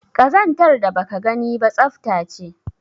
Kazantar da baka gani ba tsafta ce